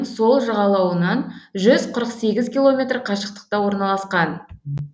сол жағалауынан жүз қырық сегіз километр қашықтықта орналасқан